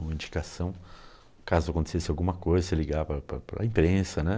uma indicação, caso acontecesse alguma coisa, você ligava para para para para a imprensa, né?